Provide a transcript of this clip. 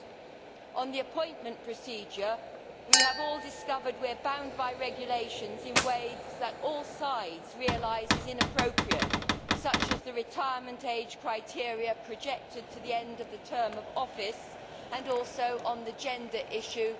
Concerning the appointment procedure, we have all discovered we are bound by regulations in ways that all sides realise is inappropriate, such as the retirement age criteria projected to the end of the term of office and also on the gender issue.